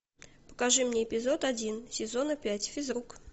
покажи мне эпизод один сезона пять физрук